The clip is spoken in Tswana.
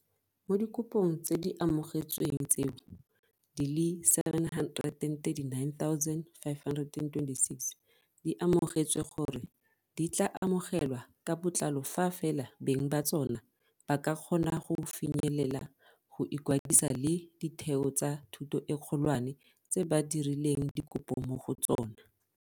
Mo dikopong tse di amogetsweng tseo, di le 739 526 di amogetswe gore di tla amogelwa ka botlalo fa fela beng ba tsona ba ka kgona go finyelela go ikwadisa le ditheo tsa thuto e kgolwane tse ba dirileng dikopo mo go tsona.